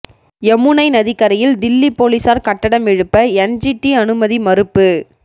யமுனை நதிக் கரையில் தில்லி போலீஸாா் கட்டடம் எழுப்ப என்ஜிடி அனுமதி மறுப்பு